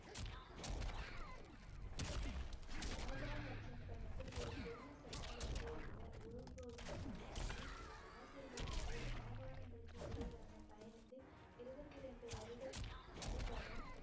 தாபா மற்றும் தனக்குள் ஒரு பெரிய சக்தியாக இருந்த குரு கோவிந்த் சிங்ஜியின் ஆசீர்வாதங்கள் மாகாணங்களுக்கு இடையிலான பயணத்தில் இருபத்தி ரெண்டு வருட அனுபவம்